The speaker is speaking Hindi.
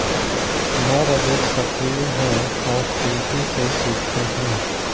नर अधिक सक्रिय हैं और तेजी से सीखते हैं